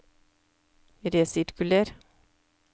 resirkuler